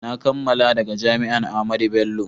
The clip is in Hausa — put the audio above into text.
na kammala daga jami'an Ahmadu Bello